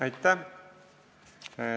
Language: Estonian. Aitäh!